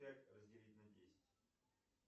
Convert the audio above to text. пять разделить на десять